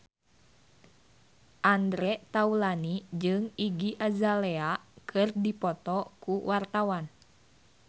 Andre Taulany jeung Iggy Azalea keur dipoto ku wartawan